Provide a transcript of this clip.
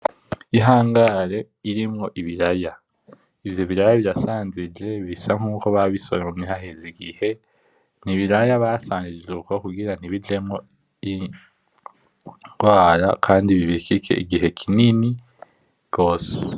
Ihangare irimwo ibiraya, ivyo biraya birasnajije bisa nkuko babisoromye haheze igihe. Nibiraya basanjije uko kugira ntibijemwo ingwara kandi bibikike igihe kinini gose.